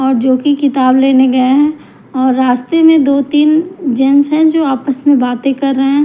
और जो कि किताब लेने गए हैं और रास्ते में दो-तीन जेन्स हैं जो आपस में बातें कर रहे हैं।